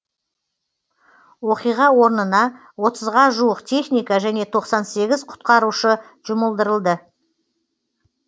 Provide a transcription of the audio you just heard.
оқиға орнына отызға жуық техника және тоқсан сегіз құтқарушы жұмылдырылды